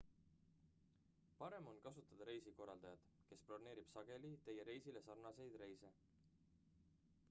parem on kasutada resikorraldajat kes broneerib sageli teie reisile sarnaseid reise